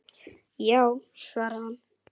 Já, svaraði hann.